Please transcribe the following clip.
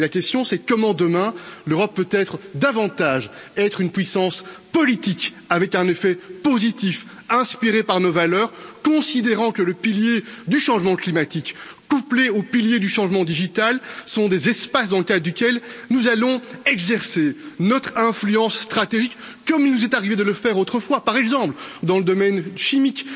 Et la question est de savoir comment l'Europe de demain peut être davantage une puissance politique, avec un effet positif inspiré par nos valeurs, considérant que le pilier du changement climatique couplé au pilier du changement numérique sont des espaces dans le cadre duquel nous allons exercer notre influence stratégique, comme il nous est arrivé de le faire autrefois, par exemple, dans le domaine chimique,